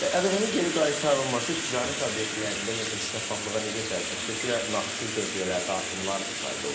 ƏDV-nin geri qaytarılması ticarət obyektlərində ümumiyyətlə şəffaflığa necə təsir, xüsusilə nağdsız dövriyyələrdə artımlar müşahidə olunur?